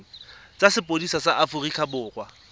tsa sepodisi sa aforika borwa